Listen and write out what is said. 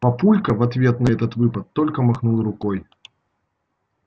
папулька в ответ на этот выпад только махнул рукой